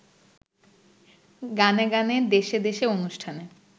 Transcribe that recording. গানে গানে দেশে দেশে অনুষ্ঠানে